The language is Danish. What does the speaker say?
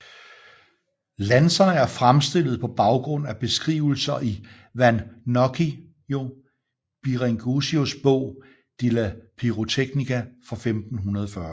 Lanserne er fremstillet på baggrund af beskrivelser i Vannoccio Biringuccios bog De la pirotechnia fra 1540